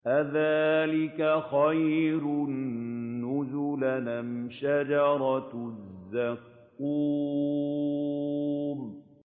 أَذَٰلِكَ خَيْرٌ نُّزُلًا أَمْ شَجَرَةُ الزَّقُّومِ